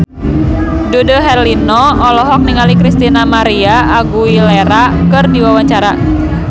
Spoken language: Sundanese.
Dude Herlino olohok ningali Christina María Aguilera keur diwawancara